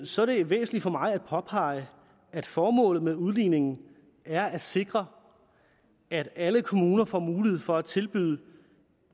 så er det væsentligt for mig at påpege at formålet med udligningen er at sikre at alle kommuner får mulighed for at tilbyde